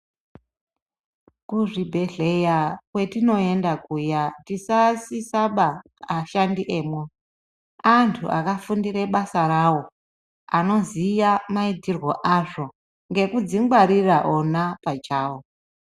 Kuzvibhehleya kwetinoenda kuya tisasisaba ashandi emwo, antu akafundire basa ravo, anoziya maitirwe azvo, nekudzingwarira ona pachavo.